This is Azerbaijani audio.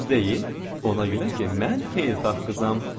Ona görə ki, mən xeyirxah qızam.